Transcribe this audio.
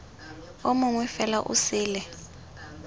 o mongwe fela o sele